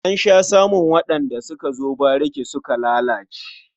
An sha samun waɗanda suka zo bariki suka lalace.